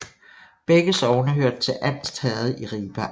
Begge sogne hørte til Anst Herred i Ribe Amt